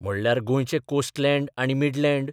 म्हणल्यार गोंयचें कोस्टलँड आनी मिडलँड.